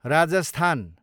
Rajasthan